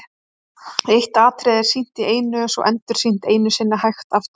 Eitt atriði er sýnt í einu og svo endursýnt einu sinni hægt aftur.